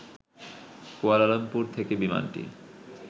Kuala Lumpur থেকে বিমানটি